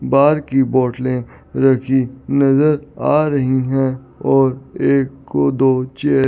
बार की बोटले रखी नजर आ रहीं हैं और एक दो चेयर --